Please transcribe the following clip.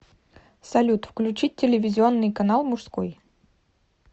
салют включить телевизионный канал мужской